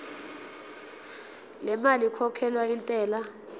lemali ekhokhelwa intela